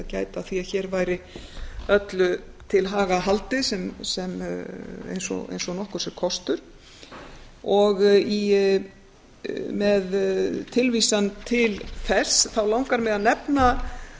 gæta að því að hér væri öllu til haga haldið eins og nokkurs er kostur og með tilvísan til þess langar mig að nefna